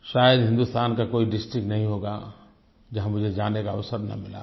शायद हिन्दुस्तान का कोई डिस्ट्रिक्ट नहीं होगा जहाँ मुझे जाने का अवसर न मिला हो